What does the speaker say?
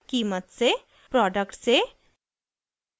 कीमत से प्रोडक्ट से